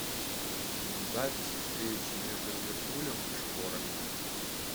запись встречи между ливерпулем и шпорами